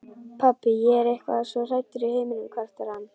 Pabbi, ég er eitthvað svo hræddur í heiminum, kvartar hann.